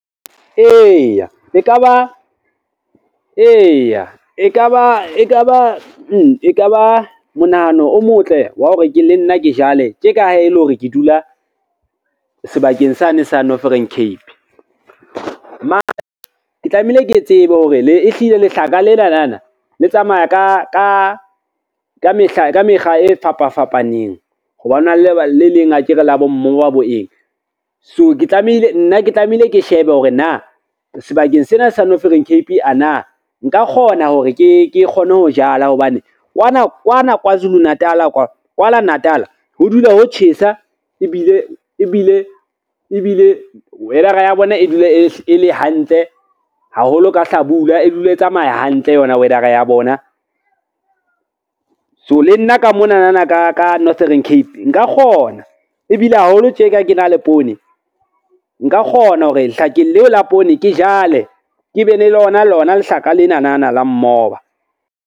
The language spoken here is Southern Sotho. Eya e ka ba monahano o motle wa hore le nna ke jale tje ka ha e le hore ke dula sebakeng sa ne sa Northern Cape. Ke tlamehile ke tsebe hore ehlile lehlaka lenana le tsamaya ka mekga e fapa fapaneng, ho ba ho na le le leng akere la bo mmoba bo eng. So nna ke tlamehile ke shebe hore na sebakeng sena sa Northern Cape a na nka kgona hore ke kgone ho jala, hobane kwana Kwazulu Natal, kwana Natal ho dula ho tjhesa ebile weather-a ya bona e dule e le hantle haholo ka hlabula, e dule e tsamaya hantle yona weather-a ya bona, so le nna ka monana ka Northern Cape nka kgona ebile haholo tjeka. Ke na le poone, nka kgona hore lehlakeng leo la poone ke jale ke be le lona lona lehlaka lenanana la mmoba.